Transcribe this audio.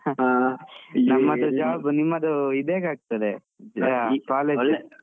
ಹಾ ನಮ್ಮದು job ನಿಮ್ಮದು ಇದೇಗ್ ಆಗ್ತಾದೆ, college ?